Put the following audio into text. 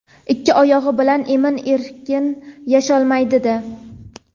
ikki oyog‘i bilan emin-erkin yasholmaydi-da.